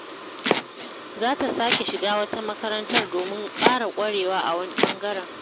Za ta sake shiga wata makarantar domin ƙara ƙwarewa a wani ɓangaren.